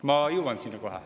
Ma kohe jõuan sinna.